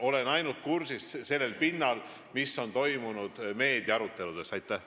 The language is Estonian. Olen teemaga kursis ainult meedias toimunud arutelude kaudu.